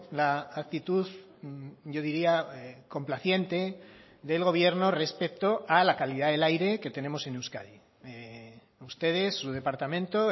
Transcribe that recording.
la actitud yo diría complaciente del gobierno respecto a la calidad del aire que tenemos en euskadi ustedes su departamento